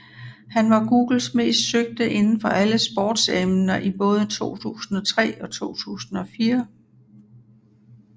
Han var Googles mest søgte inden for alle sportsemner i både 2003 og 2004